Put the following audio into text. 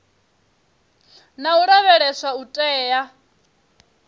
na u lavheleswa u tea